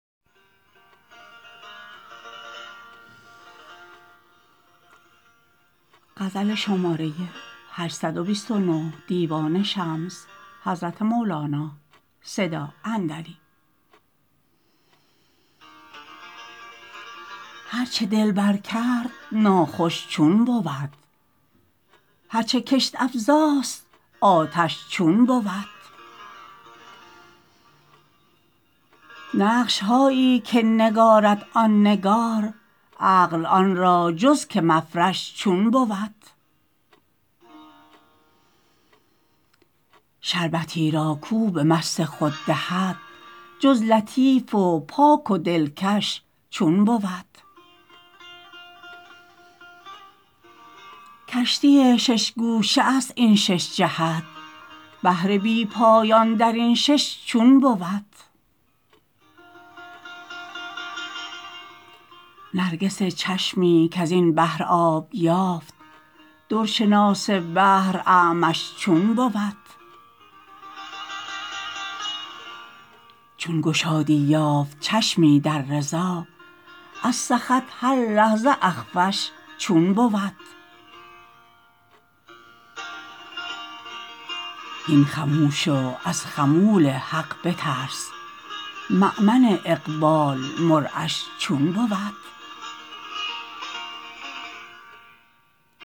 هر چه دلبر کرد ناخوش چون بود هر چه کشت افزاست آتش چون بود نقش هایی که نگارد آن نگار عقل آن را جز که مفرش چون بود شربتی را کو به مست خود دهد جز لطیف و پاک و دلکش چون بود کشتی شش گوشه ست این شش جهت بحر بی پایان در این شش چون بود نرگس چشمی کز این بحر آب یافت در شناس بحر اعمش چون بود چون گشادی یافت چشمی در رضا از سخط هر لحظه اخفش چون بود هین خموش و از خمول حق بترس مؤمن اقبال مرعش چون بود